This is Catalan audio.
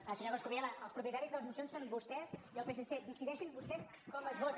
senyor coscubiela els propietaris de les mocions són vostès i el psc decideixin vostès com es vota